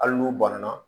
Hali n'u banana